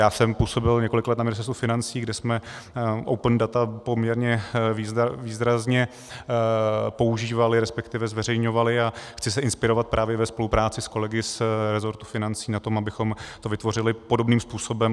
Já jsem působil několik let na Ministerstvu financí, kde jsme open data poměrně výrazně používali, respektive zveřejňovali, a chci se inspirovat právě ve spolupráci s kolegy z rezortu financí na tom, abychom to vytvořili podobným způsobem.